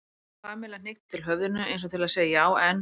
Pamela hnykkti til höfðinu eins og til að segja já, en.